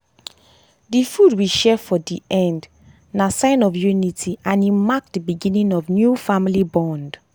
dey food we share for dey end na sign of unity and e mark dey beginning of new family bond.